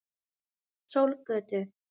Sólgötu